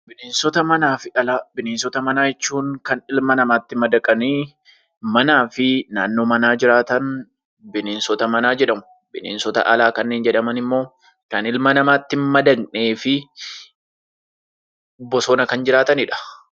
Bineensota alaa fi manaa Bineensota manaa jechuun kan ilma namatti madaqanii manaa fi naannoo manaa jiraatan bineensota manaa jedhamu. Bineensota alaa kanneen jedhaman immoo kan ilma namaatti hin madaqnee fi bosona kan jiraatanidha.